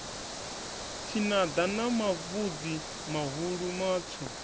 tshinada na mavhudzi mahulu matswu